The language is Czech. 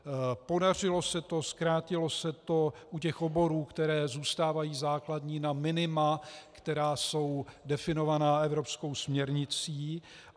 Podařilo se to, zkrátilo se to u těch oborů, které zůstávají základní, na minima, která jsou definovaná evropskou směrnicí.